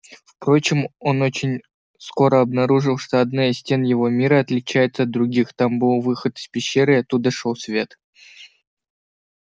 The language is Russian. впрочем он очень скоро обнаружил что одна из стен его мира отличается от других там был выход из пещеры и оттуда шёл свет